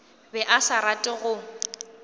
be a sa rate go